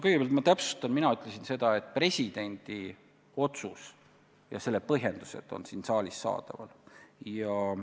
Kõigepealt ma täpsustan: mina ütlesin seda, et presidendi otsus ja selle põhjendused on siin saalis saadaval.